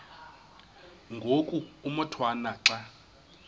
ngoku umotwana xa